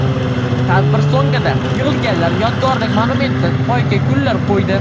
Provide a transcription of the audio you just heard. Tadbir so‘ngida yig‘ilganlar yodgorlik monumenti poyiga gullar qo‘ydi.